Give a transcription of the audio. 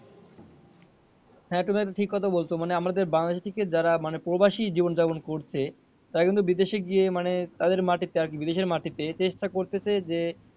হ্যাঁ তুমি এটা ঠিক কথা বলছ মানে আমাদের বাংলাদেশী থেকে যারা মানে প্রবাসি জীবন জাপন করছে তারা কিন্তু বিদেশে গিয়ে মানে তাদের মাটিতে আরকি বিদেশের মাটিতে চেষ্টা করতেছে যে,